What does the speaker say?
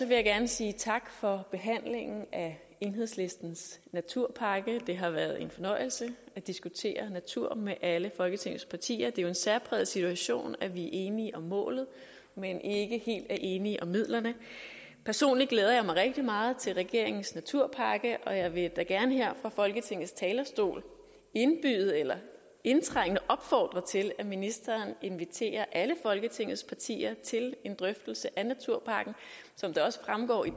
jeg gerne sige tak for behandlingen af enhedslistens naturpakke det har været en fornøjelse at diskutere natur med alle folketingets partier det er jo en særpræget situation at vi er enige om målet men ikke helt er enige om midlerne personligt glæder jeg mig rigtig meget til regeringens naturpakke og jeg vil da gerne her fra folketingets talerstol indtrængende opfordre til at ministeren inviterer alle folketingets partier til en drøftelse af naturpakken som det også fremgår i